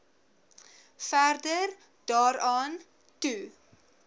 verder daaraan toe